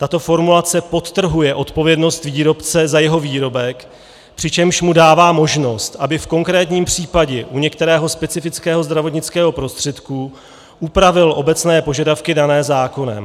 Tato formulace podtrhuje odpovědnost výrobce za jeho výrobek, přičemž mu dává možnost, aby v konkrétním případě u některého specifického zdravotnického prostředku upravil obecné požadavky dané zákonem.